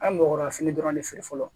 An bɔgɔra fini dɔrɔn de feere fɔlɔ